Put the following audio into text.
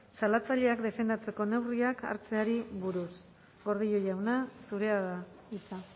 salatzaileak defendatzeko neurriak hartzeari buruz gordillo jauna zurea da hitza